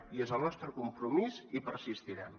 i és el nostre compromís i persistirem